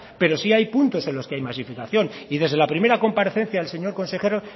pero sí hay puntos en los que hay masificación y desde la primera comparecencia el señor consejero